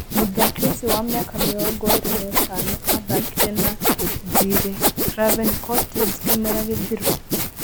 Mũthaki ũcio wa mĩaka mĩrongo ĩĩrĩ na ĩtano athakire na thirĩ Craven Cottage kĩmera gĩthiru